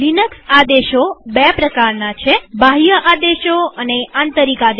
Linux આદેશો બે પ્રકારના છે બાહ્ય આદેશો અને આંતરિક આદેશો